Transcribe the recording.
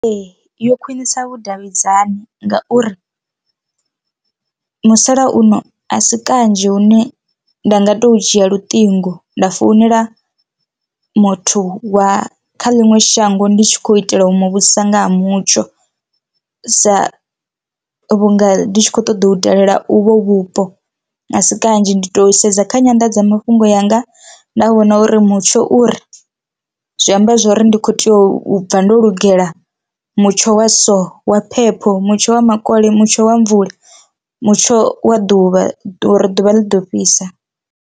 Ee, yo khwinisa vhudavhidzani ngauri musalauno a si kanzhi hune nda nga to dzhia luṱingo nda founela muthu wa kha ḽiṅwe shango ndi tshi khou itela u muvhudzisa nga ha mutsho sa vhunga ndi tshi kho ṱoḓa u dalela uvho vhupo a si kanzhi. Ndi to sedza kha nyanḓadzamafhungo yanga nda vhona uri mutsho uri zwi amba zwori ndi kho tea u bva ndo lugela mutsho wa so wa phepho, mutsho wa makole, mutsho wa mvula. mutsho wa ḓuvha uri ḓuvha ḽi ḓo fhisa.